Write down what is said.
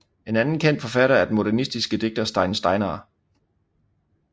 En anden kendt forfatter er den modernistiske digter Steinn Steinarr